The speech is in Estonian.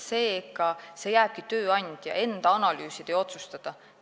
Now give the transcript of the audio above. Seega jääbki see tööandja enda analüüsida ja otsustada.